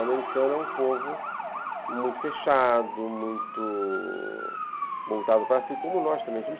O americano é um povo muito fechado, muito voltado para si, como nós também.